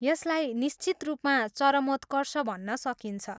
यसलाई निश्चित रूपमा चरमोत्कर्ष भन्न सकिन्छ।